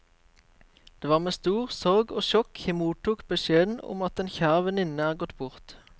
Det var med stor sorg og sjokk jeg mottok beskjeden om at en kjær venninne er gått bort.